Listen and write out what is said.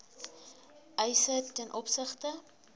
eise ten opsigte